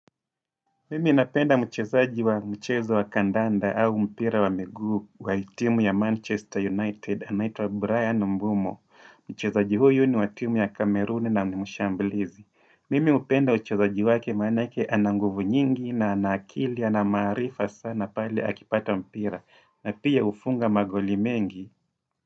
Mimi napenda mchezaji wa mchezo wa kandanda au mpira wa miguu wa timu ya Manchester United, anaitwa Brian Mbumo. Mchezaji huyu ni wa timu ya Cameroon na ni mshambulizi. Mimi hupenda uchezaji wake maanake ana nguvu nyingi na ana akili, ana maarifa sana pale akipata mpira. Na pia hufunga magoli mengi.